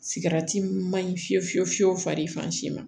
Sigarati min man ɲi fiyewu fiyewu fiyewu faran si ma